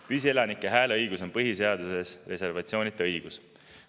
Püsielanike hääleõigus on põhiseaduses reservatsioonita õigus.